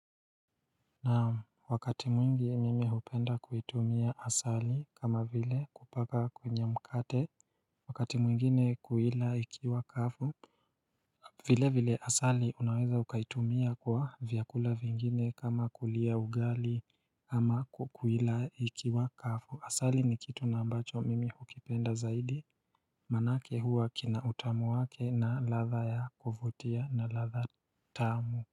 Na wakati mwingine mimi hupenda kuitumia asali kama vile kupaka kwenye mkate wakati mwingine kuila ikiwa kavu vile vile asali unaweza ukaitumia kwa vyakula vingine kama kulia ugali ama kuila ikiwa kavu Asali ni kitu na ambacho mimi hukipenda zaidi maanake huwa kina utamu wake na ladha ya kuvutia na ladha tamu.